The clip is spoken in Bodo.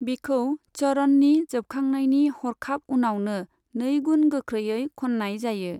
बिखौ चरणनि जोबखांनायनि हरखाब उनावनो नै गुन गोख्रैयै खननाय जायो।